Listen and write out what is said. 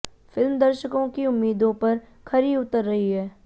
film दर्शकों की उम्मीदों पर खरी उतर रही है